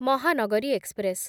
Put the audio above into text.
Mahanagari express